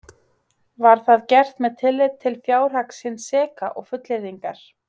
Var það gert með tilliti til fjárhags hins seka og fullyrðingar